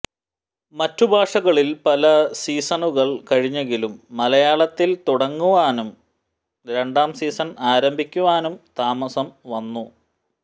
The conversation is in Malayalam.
മറ്റു ഭാഷകളിൽ പല സീസണുകൾ കഴിഞ്ഞെങ്കിലും മലയാളത്തിൽ തുടങ്ങാനും രണ്ടാം സീസൺ ആരംഭിക്കുവാനും താമസം വന്നു